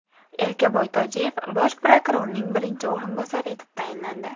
Erkaboy Tojiyev Bosh prokurorning birinchi o‘rinbosari etib tayinlandi.